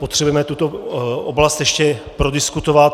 Potřebujeme tuto oblast ještě prodiskutovat.